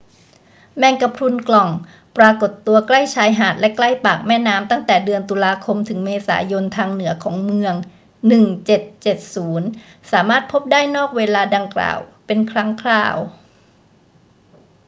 แมงกะพรุนกล่องปรากฏตัวใกล้ชายหาดและใกล้ปากแม่น้ำตั้งแต่เดือนตุลาคมถึงเมษายนทางเหนือของเมือง 1770 สามารถพบได้นอกเวลาดังกล่าวเป็นครั้งคราว